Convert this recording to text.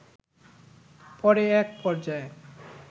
পরে এক পর্যায়ে